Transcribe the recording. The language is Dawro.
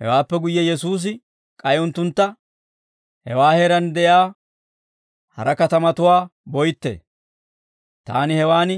Hewaappe guyye Yesuusi k'ay unttuntta, «Hewaa heeraan de'iyaa hara katamatuwaa boytte; taani hewaan